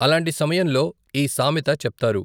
అలాంటి సమయంలో ఈ సామెత చెప్తారు.